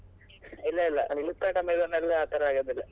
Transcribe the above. ಇಲ್ಲ ಇಲ್ಲ Flipkart, Amazon ಎಲ್ಲ ಆತರ ಆಗುದಿಲ್ಲ.